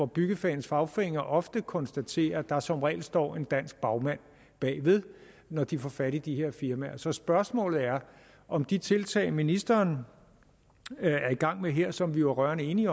byggefagenes fagforeninger ofte konstaterer at der som regel står en dansk bagmand bag når de får fat i de her firmaer så spørgsmålet er om de tiltag som ministeren er i gang med her og som vi jo er rørende enige